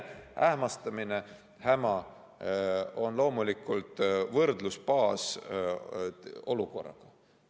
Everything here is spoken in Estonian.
Ähmastamine ja häma on loomulikult võrdlusbaas olukorraga.